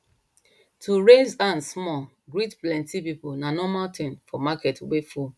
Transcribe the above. to raise hand small greet plenty people na normal thing for market wey full